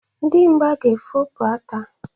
Dimgba ga-efopụ ata.